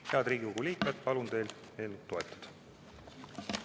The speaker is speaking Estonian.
Head Riigikogu liikmed, palun teil eelnõu toetada.